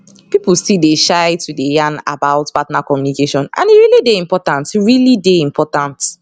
people still dey shy to dey yan about partner communication and e really dey important really dey important